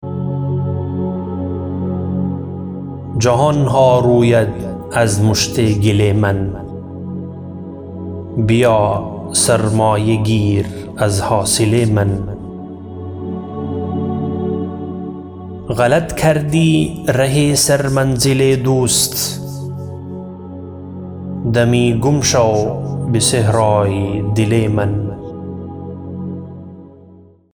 جهانها روید از مشت گل من بیا سرمایه گیر از حاصل من غلط کردی ره سر منزل دوست دمی گم شو به صحرای دل من